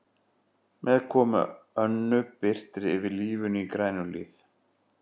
Með komu Önnu birtir yfir lífinu í Grænuhlíð.